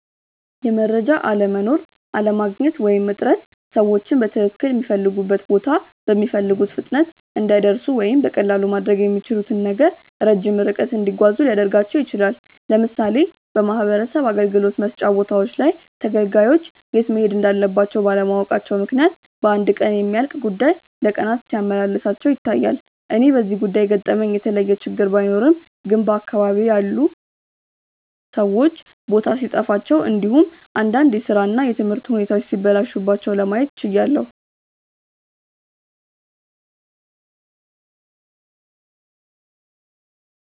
የመረጃ አለመኖር፣ አለማግኘት ወይም እጥረት ሰዎችን በትክልል ሚፈልጉበት ቦታ በሚፈልጉት ፍጥነት እንዳይደርሱ ወይም በቀላሉ ማድረግ ለሚችሉት ነገር ረጅም ርቀት እንዲጓዙ ሊያደርጋቸው ይችላል። ለምሳሌ በማህበረሰብ አገልግሎት መስጫ ቦታዎች ላይ ተገልጋዮች የት መሄድ እንዳለባቸው ባለማወቃቸው ምክንያት በአንድ ቀን የሚያልቅ ጉዳይ ለቀናት ሲያመላልሳቸው ይታያል። እኔ በዚህ ጉዳይ የገጠመኝ የተለየ ችግር ባይኖርም ግን በአካባቢዬ ላይ ያሉት ሰዎች ቦታ ሲጠፋቸው እንዲሁም እንዳንድ የስራ እና የትምህርት ሁኔታዎች ሲበላሹባቸው ለማየት ችያለው።